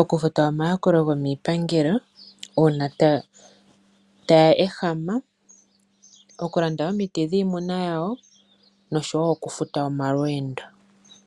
okufuta omayakulo gomiipangelo uuna ta ya ehama, okulanda omiti dhiimuna yawo nosho woo okufuta omalweendo.